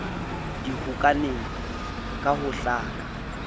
di hokahane ka ho hlaka